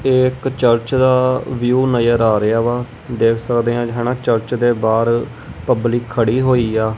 ਇਹ ਇੱਕ ਚਰਚ ਦਾ ਵਿਊ ਨਜ਼ਰ ਆ ਰਿਹਾ ਵਾ ਦੇਖ ਸਕਦੇ ਹਾਂ ਹੈ ਨਾ ਚਰਚ ਦੇ ਬਾਹਰ ਪਬਲਿਕ ਖੜੀ ਹੋਈ ਆ।